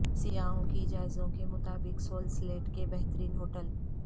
سیاحوں کی جائزوں کے مطابق سول سلیٹ کے بہترین ہوٹل